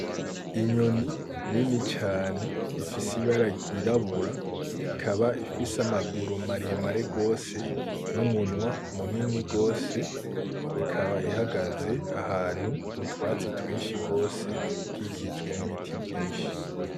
Inyoni nini cane ifise ibara ryirabura ikaba ifise amaguru maremare gose, n'umunwa munini gose ikaba ihagaze ahantu mu twatsi twinshi gose ikikijwe n'ibiti vyinshi.